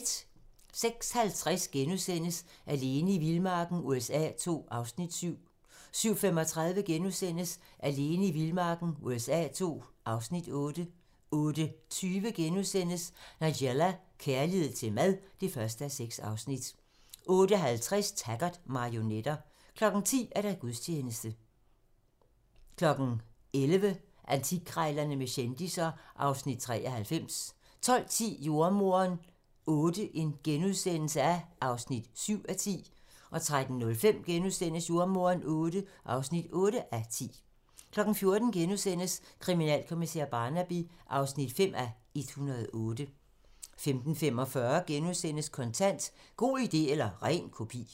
06:50: Alene i vildmarken USA II (Afs. 7)* 07:35: Alene i vildmarken USA II (Afs. 8)* 08:20: Nigella - kærlighed til mad (1:6)* 08:50: Taggart: Marionetter 10:00: Gudstjeneste 11:00: Antikkrejlerne med kendisser (Afs. 93) 12:10: Jordemoderen VIII (7:10)* 13:05: Jordemoderen VIII (8:10)* 14:00: Kriminalkommissær Barnaby (5:108)* 15:45: Kontant: God idé eller ren kopi *